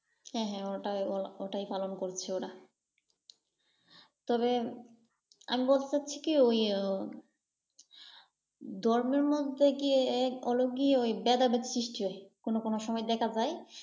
হ্যাঁ হ্যাঁ উহ ওটাই পালন করছে ওরা। তবে আমি বলতে চাচ্ছি কি ওই ধর্মের মধ্যে কিএ হল কি ওই ভেদাভেদ সৃষ্টি হয়, কোন কোন সময় দেখা যায়।